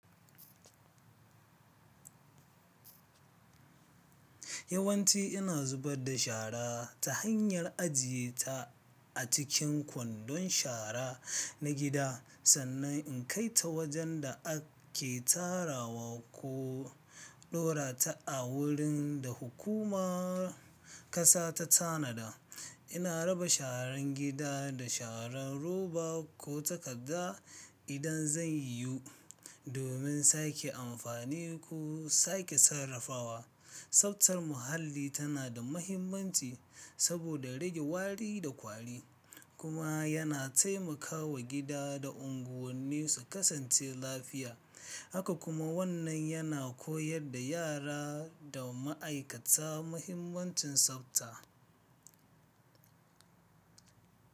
Yawanci ina zubar da shara ta hanyar ajiye ta a cikin kwandon shara na gida sannan in kai ta wajen da ake tarawa ko ɗora ta a wurin da hukumar kasa ta tanada. Ina raba sharan gida da sharan roba ko takadda idan zai yu, domin sake amfani ko sake sarrafawa. Tsaftar muhalli tana da mahimmanci saboda rage wari da kwari kuma yana taimakawa gida da unguwanni su kasance lafiya. Haka kuma wannan yana koyar da yara da ma'aikata mahimmancin tsafta.